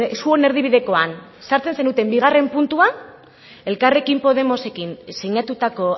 zuen erdibidekoan sartzen zenuten bigarren puntua elkarrekin podemosekin sinatutako